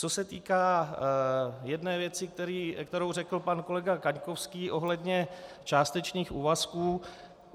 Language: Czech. Co se týká jedné věci, kterou řekl pan kolega Kaňkovský ohledně částečných úvazků.